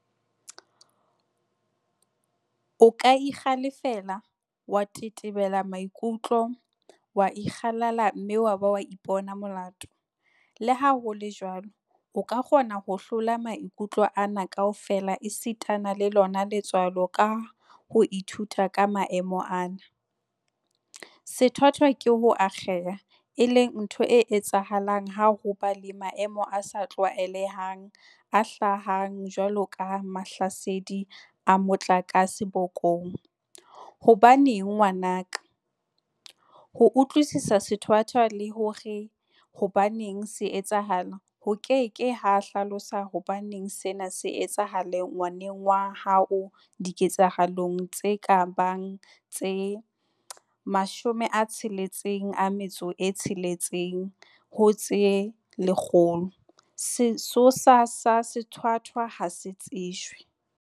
O ka ikgale-fela, wa tetebela maikutlo, wa ikgalala mme wa ba wa ipona molato, leha ho le jwalo, o ka kgona ho hlola maikutlo ana kaofela esitana le lona letswalo ka ho ithuta ka maemo ana. Sethwathwa ke ho akgeha, e leng ntho e etsahalang ha ho ba le maemo a sa tlwaelehang a hlabang jwalo ka mahlasedi a motlakase bokong. Hobaneng ngwana ka? Ho utlwisisa sethwathwa, le hore hobaneng se etsahala, ho ke ke ha hlalosa hobaneng sena se etsahala ngwaneng wa haoDiketsahalong tse ka bang tse 66 ho tse lekgolo, sesosa sa sethwathwa ha se tsejwe.